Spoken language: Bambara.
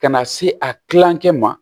Ka na se a kilankɛ ma